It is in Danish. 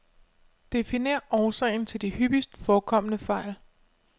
Definer årsagen til de hyppigt forekommende fejl.